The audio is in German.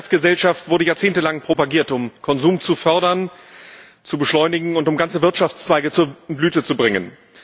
Die Wegwerfgesellschaft wurde jahrzehntelang propagiert, um Konsum zu fördern, zu beschleunigen und um ganze Wirtschaftszweige zur Blüte zu bringen.